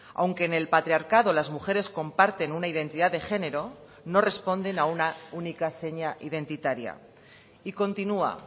aunque en el patriarcado las mujeres comparten una identidad de género no responden a una única seña identitaria y continua